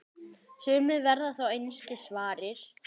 Sumir verða þó einskis varir.